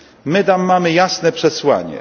My wam damy jasne przesłanie.